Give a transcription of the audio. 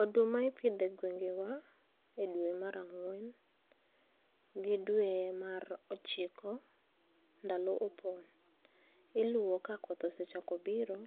Oduma ipidhe gwengewa e dwe mar ang'wen gi dwe mar ochiko, ndalo. Iluwo ka koth biro,